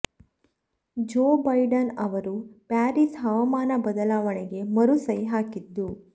ಜೊ ಬೈಡನ್ ಅವರು ಪ್ಯಾರಿಸ್ ಹವಾಮಾನ ಬದಲಾವಣೆಗೆ ಮರು ಸಹಿ ಹಾಕಿದ್ದು